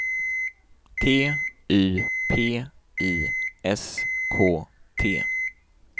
T Y P I S K T